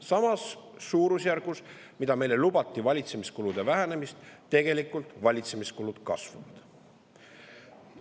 Samas suurusjärgus, kui meile lubati valitsemiskulude vähenemist, valitsemiskulud tegelikult kasvavad.